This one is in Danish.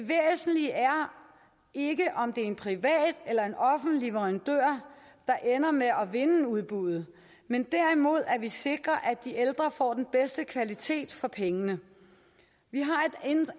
ikke om det er en privat eller en offentlig leverandør der ender med at vinde udbuddet men derimod at vi sikrer at de ældre får den bedste kvalitet for pengene